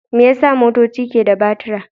Me yasa motoci ke da batura?